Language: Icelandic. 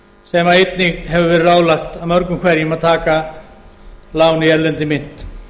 sem einnig hefur verið ráðlagt af mörgum hverjum að taka lán í erlendri mynt